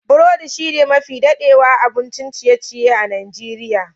Burodi shine mafi dadewa abun ciye-ciye a Nijeriya.